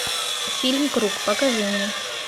фильм круг покажи мне